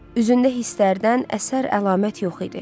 Üzündə hisslərdən əsər-əlamət yox idi.